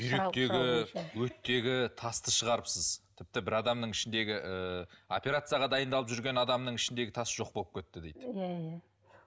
бүйректегі өттегі тасты шығарыпсыз тіпті бір адамның ішіндегі ыыы операцияға дайындалып жүрген адамның ішіндегі тас жоқ болып кетті дейді иә иә